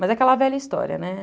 Mas é aquela velha história, né?